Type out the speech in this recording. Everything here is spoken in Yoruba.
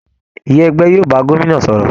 Ìyá ẹgbẹ́ yóò bá gómìnà sọ̀rọ̀